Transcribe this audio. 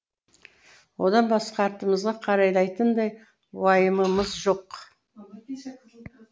одан басқа артымызға қарайлайтындай уайымымыз жоқ